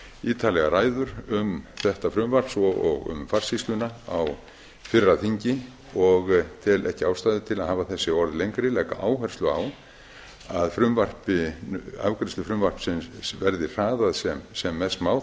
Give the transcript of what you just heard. ítarlegar ræður um þetta frumvarp svo og um farsýsluna á fyrra þingi og tel ekki ástæðu til að hafa þessi orð lengri ég legg áherslu á að afgreiðslu frumvarpsins verði hraðað sem mest má